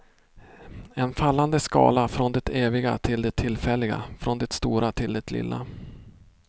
En fallande skala från det eviga till det tillfälliga, från det stora till det lilla.